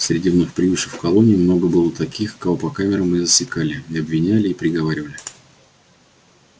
среди вновь прибывших в колонию много было таких кого по камерам и засекали и обвиняли и приговаривали